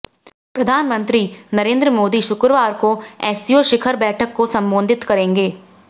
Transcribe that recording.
प्रधानमंत्री नरेंद्र मोदी शुक्रवार को एससीओ शिखर बैठक को संबोधित करेंगे